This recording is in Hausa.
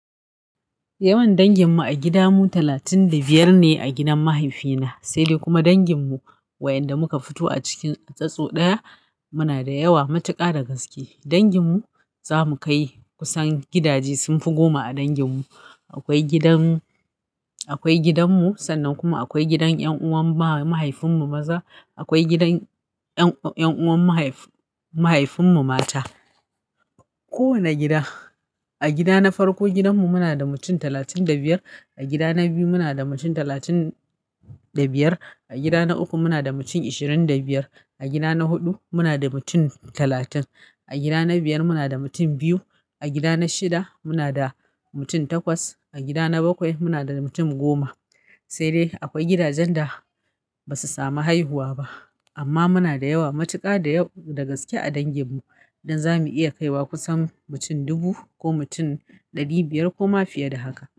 Yawan dangin mu a gida mu talatin da biyar ne a gidan mahaifina, sai dai kuma dangin mu wayanda muka fito a cikin statsu ɗaya muna da yawa matuƙa da gaske. Dangin mu za mu kai kusan gidaje sun fi goma a dangin mu. Akwai gidan, akwai gidan mu sannan kuma akwai gidan ƴan'uwan mahaifin mu maza, akwai gidan ƴan'uwan mahaifin mu mata. Kowane gida, a gida na farko gidan mu muna da mutum talatin da biyar, a gida na biyu muna da mutum talatin da biyar, a gida na uku muna da mutum ishirin da biyar, a gida na huɗu muna da mutum talatin, a gida na biyar muna da mutum biyu, a gida na shida muna da mutum takwas, a gida na bakwai muna da mutum goma. Sai dai akwai gidajen da basu samu haihuwa ba amma muna da yawa matuka da gaske a dangin mu dan za mu iya kai wa kusan mutum dubu ko mutum ɗari biyar ko ma fiye da haka.